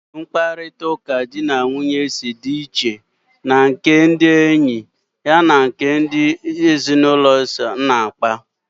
Olee otú mkparịta ụka di na nwunye si dị iche na nke ha na ndị enyi ma ọ bụ ndị ezinụlọ ha na-akpa?